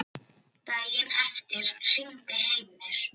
Daginn eftir hringdi Heimir.